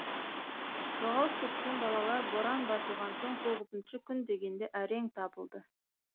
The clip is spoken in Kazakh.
жоғалып кеткен балалар боран басылған соң тоғызыншы күн дегенде әрең табылды